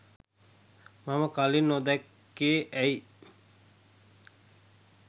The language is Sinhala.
මම කලින් නොදැක්කේ ඇයි?